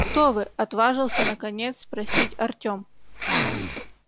кто вы отважился наконец спросить артём